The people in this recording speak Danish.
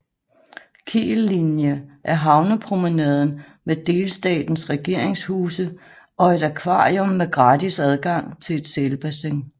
Kiellinie er havnepromenaden med delstatens regeringshuse og et akvarium med gratis adgang til et sælbassin